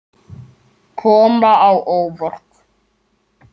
Kom á óvart.